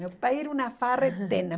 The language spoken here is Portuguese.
Meu pai era uma farra eterna.